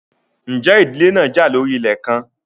Ǹjẹ́ ìdílé náà jà lórí ilẹ̀ kan?